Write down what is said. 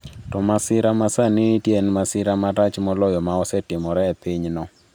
To masira ma sani nitie en masira marach moloyo ma osetimore e pinyno.